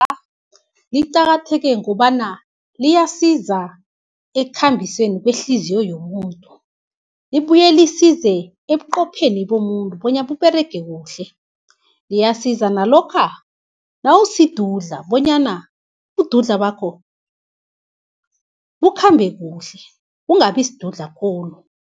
Liqakatheke gobana, liyasiza ekhambiseni kwehliziyo yomuntu. Libuye lisize ebuqhopheni bomuntu, bonyana buberege kuhle. Liyasiza nalokha nawusidudla bonyana ubududla bakhobu bakhambe kuhle ungabisdudla khulu.